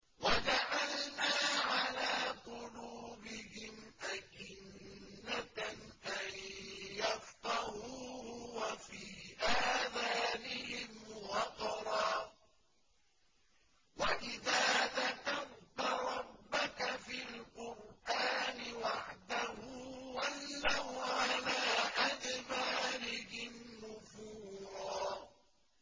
وَجَعَلْنَا عَلَىٰ قُلُوبِهِمْ أَكِنَّةً أَن يَفْقَهُوهُ وَفِي آذَانِهِمْ وَقْرًا ۚ وَإِذَا ذَكَرْتَ رَبَّكَ فِي الْقُرْآنِ وَحْدَهُ وَلَّوْا عَلَىٰ أَدْبَارِهِمْ نُفُورًا